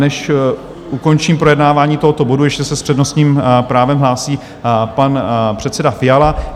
Než ukončím projednávání tohoto bodu, ještě se s přednostním právem hlásí pan předseda Fiala.